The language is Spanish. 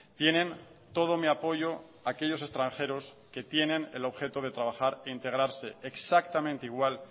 tienen todo mi apoyo aquellos extranjeros que tienen el objeto de trabajar e integrarse exactamente igual